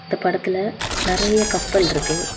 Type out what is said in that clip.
இந்த படத்துல நறைய கப்பல் இருக்கு.